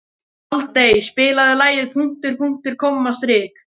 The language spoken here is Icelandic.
Aldey, spilaðu lagið „Punktur, punktur, komma, strik“.